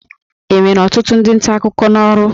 Enwere ọtụtụ ndị nta akụkọ n'ọrụ?